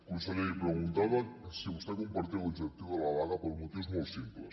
conseller li preguntava si vostè compartia l’objectiu de la vaga per motius molt simples